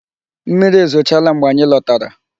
Mmiri ezochala mgbe anyị lọtara.